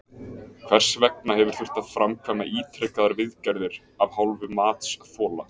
Hvers vegna hefur þurft að framkvæma ítrekaðar viðgerðir af hálfu matsþola?